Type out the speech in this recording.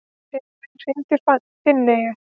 Sigurvin, hringdu í Finneyju.